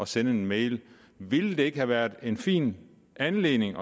sende en mail ville det ikke har været en fin anledning